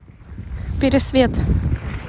пересвет